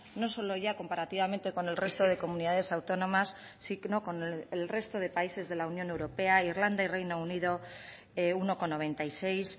no solo ya comparativamente con el resto de comunidades autónomas sino con el resto de países de la unión europea irlanda y reino unido uno coma noventa y seis